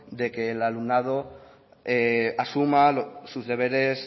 de que el alumnado asuma sus deberes